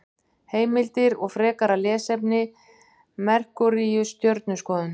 Heimildir og frekara lesefni: Merkúríus- Stjörnuskoðun.